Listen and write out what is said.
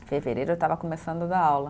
Fevereiro eu estava começando a dar aula.